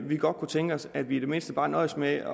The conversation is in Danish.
vi godt kunne tænke os at vi i det mindste bare nøjes med